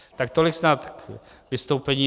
Tak tolik snad k vystoupení.